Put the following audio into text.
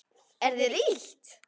Er þér illt?